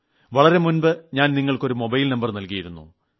വളരെ മുമ്പ് ഞാൻ നിങ്ങൾക്ക് ഒരു മൊബൈൽ നമ്പർ നൽകിയിരുന്നു